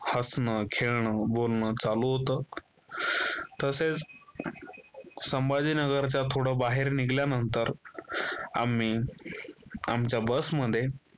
हसण खेळण बोलणं चालू होतं. तसेच संभाजीनगरचा थोडं बाहेर निघाल्यानंतर आम्ही आमच्या बसमध्ये